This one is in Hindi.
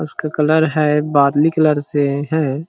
इसका कलर है बादमी कलर से है।